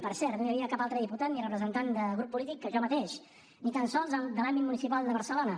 per cert no hi havia cap altre diputat ni representant de grup polític que jo mateix ni tan sols de l’àmbit municipal de barcelona